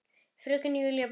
Fröken Júlía brosti.